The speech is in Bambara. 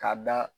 K'a da